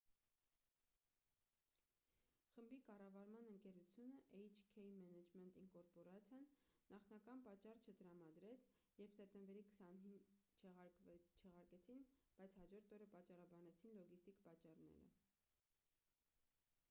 խմբի կառավարման ընկերությունը էյչ-քեյ մենեջմենթ ինկորպորացիան նախնական պատճառ չտրամադրեց երբ սեպտեմբերի 20-ին չեղարկեցին բայց հաջորդ օրը պատճառաբանեցին լոգիստիկ պատճառները